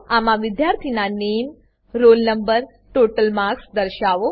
આમાં વિદ્યાર્થીનાં નામે roll નો ટોટલ માર્ક્સ દર્શાવો